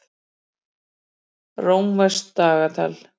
Rómverskt dagatal.